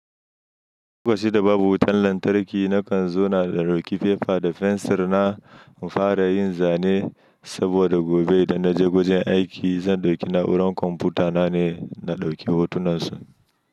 Lokacin da babu wutan lantarki nakan zo na ɗauki fefa da fensir na in fara yin zane saboda gobe idan naje wajen aiki zan ɗauki na'urar kwamfuta na ne, na ɗauki hotunan su.